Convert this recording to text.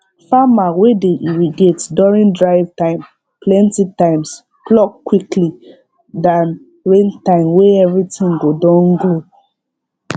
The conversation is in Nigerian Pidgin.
farmer wey dey irrigate during dry time plenty times pluck quickly than rain time wey everything go don grow